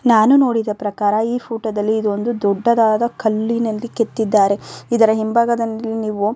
ನಾನು ನೋಡಿದ ಪ್ರಕಾರ ಈ ಫೋಟೋ ದಲ್ಲಿ ಇದು ಒಂದು ದೊಡ್ಡದಾದ ಕಲ್ಲಿನಲ್ಲಿ ಕೆತ್ತಿದ್ದಾರೆ ಇದರ ಹಿಂಭಾಗದಲ್ಲಿ ನೀವು --